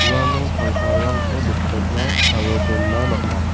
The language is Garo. uano tangkarangko bikotna aro dona man·a.